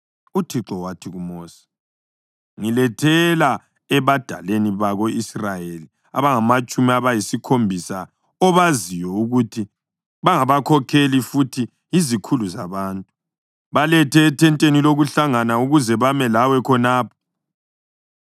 UThixo wathi kuMosi: “Ngilethela ebadaleni bako-Israyeli abangamatshumi ayisikhombisa obaziyo ukuthi bangabakhokheli futhi yizikhulu zabantu. Balethe ethenteni lokuhlangana ukuze bame lawe khonapho.